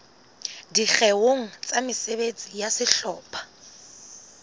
dikgeong tsa mesebetsi ya sehlopha